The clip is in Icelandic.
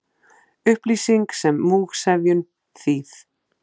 Upplýsing sem múgsefjun, þýð.